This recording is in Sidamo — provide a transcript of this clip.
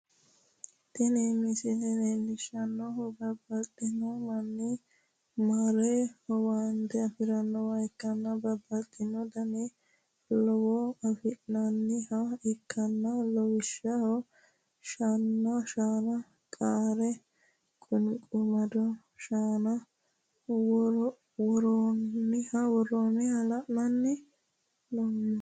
Tini misile leellishshannohu bababxxino manni mare owaante afi'rannowa ikkanna, bababxxino dani laalo afi'nanniha ikkanna, lawishshaho, shaana, qaara qunqumaddo shaan worroonniha la'anni noommo.